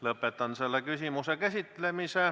Lõpetan selle küsimuse käsitlemise.